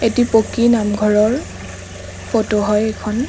এটি পকী নামঘৰৰ ফটো হয় এইখন।